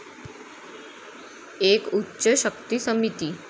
एक उच्च शक्ती समिती